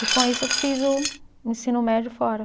E com isso eu fiz o o ensino médio fora.